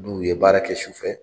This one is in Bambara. N'u ye baara kɛ su fɛ